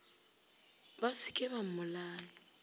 ba se ke ba mmolaya